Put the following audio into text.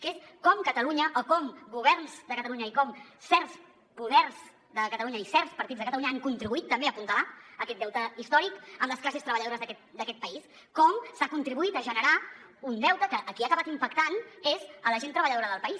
que és com catalunya o com governs de catalunya i com certs poders de catalunya i certs partits de catalunya han contribuït també a apuntalar aquest deute històric amb les classes treballadores d’aquest país com s’ha contribuït a generar un deute que a qui ha acabat impactant és a la gent treballadora del país